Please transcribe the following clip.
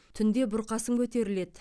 түнде бұрқасын көтеріледі